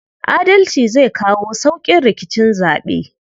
Adalci zai kawo sauƙin rikicin zaɓe.